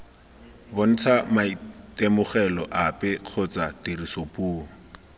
bontshe maitemogelo ape kgotsa tirisopuo